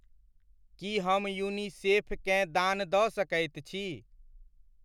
की हम यूनिसेफ केँ दान दऽ सकैत छी?